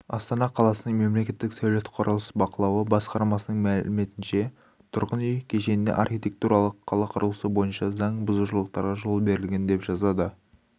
астана қаласының мемлекеттік сәулет-құрылыс бақылауы басқармасының мәліметінше түрғын үй кешенінде архитектуралық қала құрылысы бойынша заң бұзушылықтарға жол берілген деп жазады